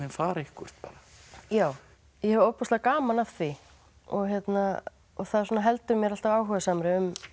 fara eitthvert bara já ég hef ofboðslega gaman af því og það heldur mér alltaf áhugasamri